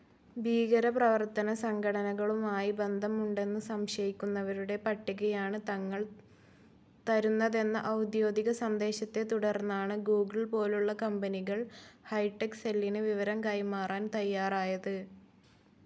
ഭീകരപ്രവർത്തനസംഘടനകളുമായി ബന്ധമുണ്ടെന്നു സംശയിക്കുന്നവരുടെ പട്ടികയാണ് തങ്ങൾ തരുന്നതെന്ന ഒൗദ്യോഗിക സന്ദേശത്തെതുടർന്നാണ് ഗൂഗ്ൾപോലുള്ള കമ്പനികൾ ഹൈറ്റെക്‌ സെല്ലിന് വിവരം കൈമാറാൻ തയ്യാറായത്.